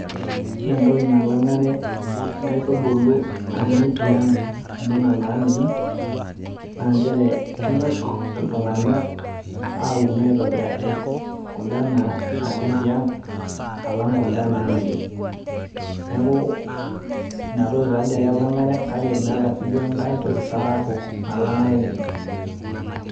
ore entoki nalang'are inkaitubulu nanyai tiang' onena naamiri inchere kenyok iltung'anak, aun aitobiraki kuda naanya tiang' alang' kuda naamiri neeku inatoki ake ela ng'are neeku meeta siiduo ekaitoki nalang'are sapuk oleng'.